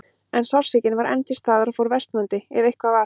En sársaukinn var enn til staðar og fór versnandi, ef eitthvað var.